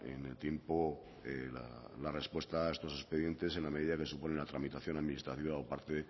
en el tiempo la respuesta a estos expedientes en la medida que supone la tramitación administrativa o parte